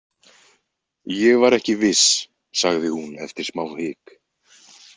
Ég var ekki viss, sagði hún eftir smá hik.